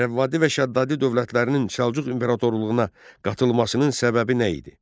Rəvvadi və Şəddadi dövlətlərinin Səlcuq imperatorluğuna qatılmasının səbəbi nə idi?